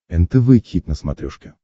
нтв хит на смотрешке